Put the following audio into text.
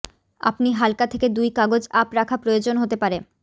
আপনি হালকা থেকে দুই কাগজ আপ রাখা প্রয়োজন হতে পারে